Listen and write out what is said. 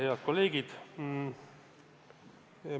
Head kolleegid!